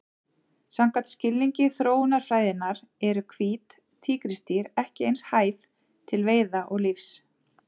Samkvæmt skilningi þróunarfræðinnar eru hvít tígrisdýr ekki eins hæf til veiða og lífs.